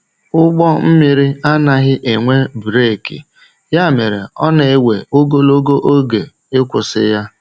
Ụgbọ mmiri anaghị enwe breeki, ya mere ọ na-ewe ogologo oge ịkwụsị ya.